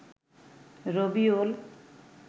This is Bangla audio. রবিউল